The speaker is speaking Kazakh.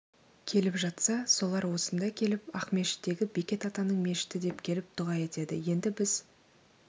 келіп жатса солар осында келіп ақмешіттегі бекет атаның мешіті деп келіп дұға етеді енді біз